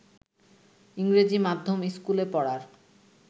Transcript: ইংরেজি মাধ্যম স্কুলে পড়ার